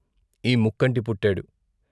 ఈ ముక్కంటి పుట్టాడు.